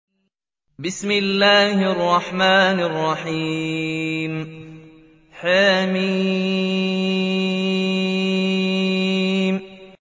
حم